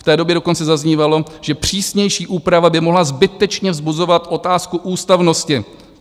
V té době dokonce zaznívalo, že přísnější úprava by mohla zbytečně vzbuzovat otázku ústavnosti.